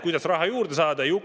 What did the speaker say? Kuidas raha juurde saada?